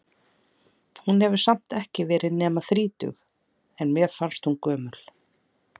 Hún hefur samt ekki verið nema þrítug, en mér fannst hún gömul.